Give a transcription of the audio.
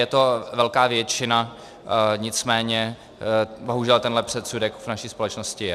Je to velká většina, nicméně bohužel tento předsudek v naší společnosti je.